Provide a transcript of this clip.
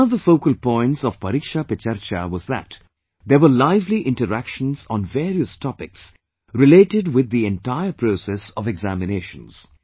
One of the focal points of 'ParikshaPeCharcha' was that there were lively interactions on various topics related with the entire process of examinations